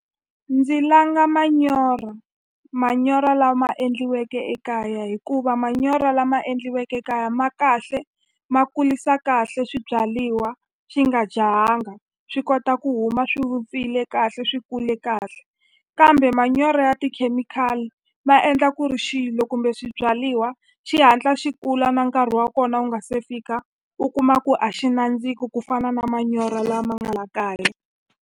Ndzi langa manyoro, manyoro lama endliweke ekaya hikuva manyoro lama endliweke ekaya ma kahle ma kulisa kahle swibyaliwa xi nga jahanga swi kota ku huma swi vupfile kahle swi kule kahle kambe manyoro ya tikhemikhali ma endla ku ri xilo kumbe swibyaliwa xi hatla xi kula na nkarhi wa kona wu nga se fika u kuma ku a xi nandziki ku fana na manyoro lama nga la kaya.